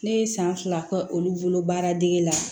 Ne ye san fila kɛ olu bolo baara dege la